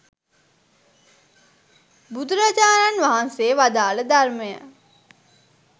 බුදුරජාණන් වහන්සේ වදාළ ධර්මය